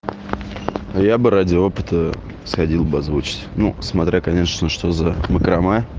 я бы ради опыта сходил бы озвучить ну смотря конечно что за макрома